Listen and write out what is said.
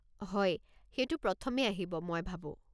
হয়, সেইটো প্রথমে আহিব, মই ভাবো।